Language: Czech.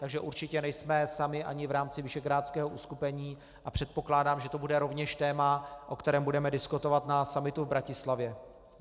Takže určitě nejsme sami ani v rámci visegrádského uskupení a předpokládám, že to bude rovněž téma, o kterém budeme diskutovat na summitu v Bratislavě.